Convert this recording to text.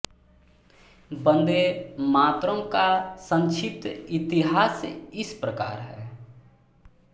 वन्दे मातरम् का संक्षिप्त इतिहास इस प्रकार है